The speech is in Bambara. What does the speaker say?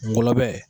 Ngɔlɔbɛ